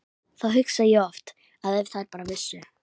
Þá hugsa ég oft að ef þær bara vissu.